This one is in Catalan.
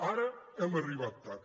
ara hem arribat tard